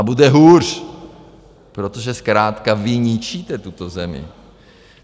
A bude hůř, protože zkrátka vy ničíte tuto zemi.